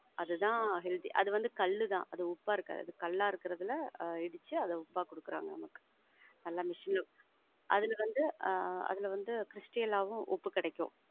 அது தான் healthy. அது வந்து கல்லு தான். அது உப்பாயிருக்காது. கல்லா இருக்குறதுல அத ஒடச்சி உப்பா குடுக்குறாங்க நமக்கு அதுல வந்து ஆஹ் அதுல வந்து stal ஆவும் உப்பு கெடைக்கும்.